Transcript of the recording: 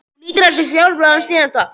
Hún hnýtir að sér fjólubláan, síðan slopp.